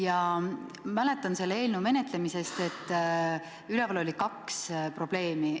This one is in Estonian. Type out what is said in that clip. Ma mäletan selle eelnõu menetlemisest, et üleval oli kaks probleemi.